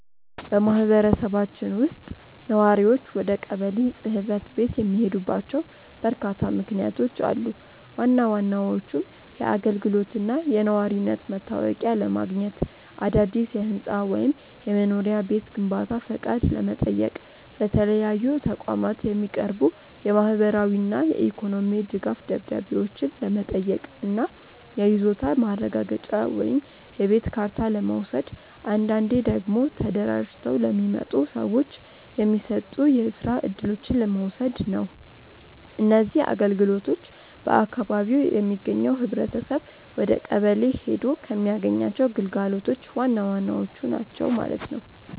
በማኅበረሰባችን ውስጥ ነዋሪዎች ወደ ቀበሌ ጽሕፈት ቤት የሚሄዱባቸው በርካታ ምክንያቶች አሉ። ዋና ዋናዎቹም የአገልግሎትና የነዋሪነት መታወቂያ ለማግኘት፣ አዳዲስ የሕንፃ ወይም የመኖሪያ ቤት ግንባታ ፈቃድ ለመጠየቅ፣ ለተለያዩ ተቋማት የሚቀርቡ የማኅበራዊና የኢኮኖሚ ድጋፍ ደብዳቤዎችን ለመጠየቅ እና የይዞታ ማረጋገጫ ወይም የቤት ካርታ ለመውሰድ፣ አንዳንዴ ደግሞ ተደራጅተው ለሚመጡ ሰዎች የሚሰጡ የስራ እድሎችን ለመውሰድ ነው። እነዚህ አገልግሎቶች በአካባቢው የሚገኘው ኅብረተሰብ ወደቀበሌ ሔዶ ከሚያገኛቸው ግልጋሎቶች ዋናዎቹ ናቸው ማለት ነው።